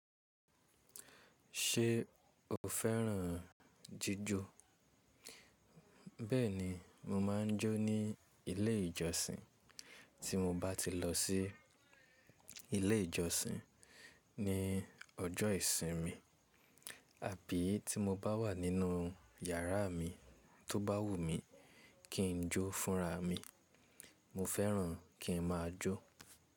Ṣé o fẹ́ràn jíjó? Bẹ́ẹ̀ni mo máa ń jó ní ilé ìjọsìn tí mo bá ti lọ sí ilé ìjọsìn ní ọjọ́ ìsinmi, àbí tí mo bá wà nínú yàrá mi tó bá wù mí kí n jó fúnra mi, mo fẹ́ràn kí n máa jó.